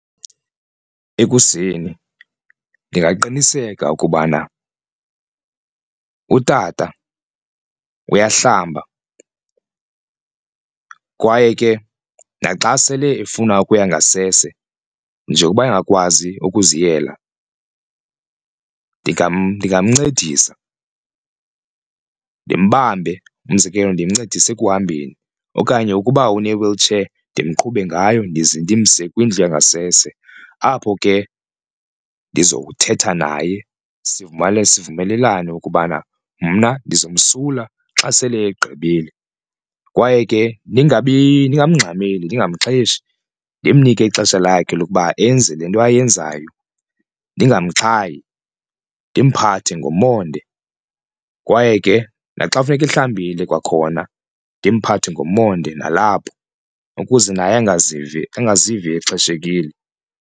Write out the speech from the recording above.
Ekuseni ndingaqiniseka ukubana utata uyahlamba kwaye ke naxa sele efuna ukuya ngasese njengokuba engakwazi ukuziyela ndingamncedisa ndimbambe, umzekelo ndimncedise ekuhambeni. Okanye ukuba une-wheelchair ndimqhube ngayo ndize ndimse kwindlu yangasese apho ke ndizowuthetha naye sivumelane ukubana mna ndizomsula xa sele egqibile. Kwaye ke ndingamngxameli ndingamxheshi ndimnike ixesha lakhe lokuba enze le nto ayenzayo ndingamxhayi, ndimphathe ngomonde kwaye ke naxa kufuneke ehlambile kwakhona ndimphathe ngomonde nalapho ukuze naye angazivi angazivi exheshekile.